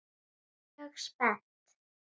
Mjög spennt.